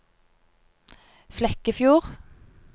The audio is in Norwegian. Flekkefjord